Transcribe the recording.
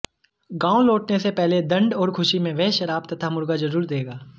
गांव लौटने से पहले दंड और खुशी में वह शराब तथा मुर्गा जरूर देगा